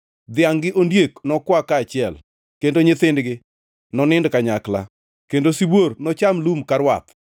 Dhiangʼ gi ondiek nokwa kaachiel, kendo nyithindgi nonind kanyakla, kendo sibuor nocham lum ka rwath.